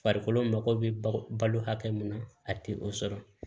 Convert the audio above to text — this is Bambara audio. Farikolo mako bɛ balo hakɛ mun na a tɛ o sɔrɔ